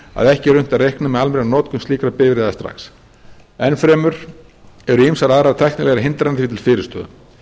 að ekki er unnt að reikna með almennri notkun slíkra bifreiða strax enn fremur eru ýmsar aðrar tæknilegar hindranir því til fyrirstöðu